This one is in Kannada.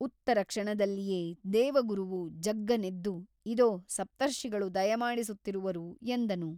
ಉತ್ತರ ಕ್ಷಣದಲ್ಲಿಯೇ ದೇವಗುರುವು ಜಗ್ಗನೆದ್ದು ಇದೋ ಸಪ್ತರ್ಷಿಗಳು ದಯಮಾಡಿಸುತ್ತಿರುವರು ಎಂದನು.